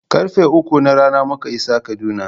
Karfe uku na rana muka isa Kaduna.